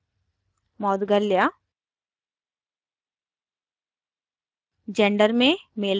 last name में moudgalya